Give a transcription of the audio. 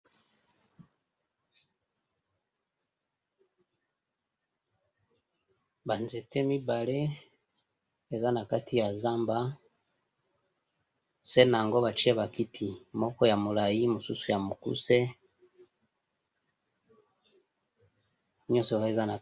Ba nzete mibale eza na kati ya zamba, se na ango batie ba kiti moko ya molai mosusu ya mokuse nioso wana eza na...